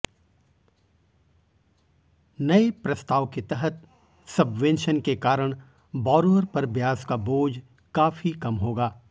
नए प्रस्ताव के तहत सबवेंशन के कारण बॉरोअर पर ब्याज का बोझ काफी कम होगा